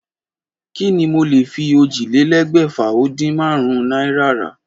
Kí ni mo lè fi ójìlélégbèfà-o-din-márún-ún náírà rà?